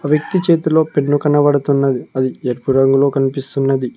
వ్యక్తి చేతిలో పెన్ను కనబడుతున్నది అది ఎరుపు రంగులో కనిపిస్తున్నది.